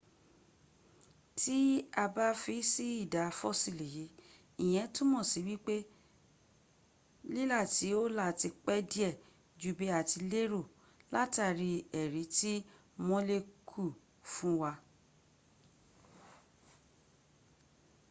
tí a bá fi sí ìdá fossil yìí ìyẹ́n túnmọ̀ sí wípé lílà tí ó là ti pẹ́ díẹ̀ jú bí a ti lérò látàrí èrí tí molecule fún wa